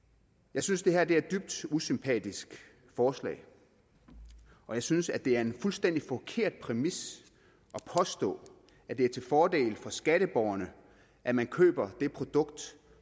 jeg synes det her er et dybt usympatisk forslag og jeg synes det er en fuldstændig forkert præmis at påstå at det er til fordel for skatteborgerne at man køber det produkt